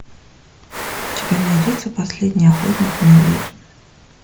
у тебя найдется последний охотник на ведьм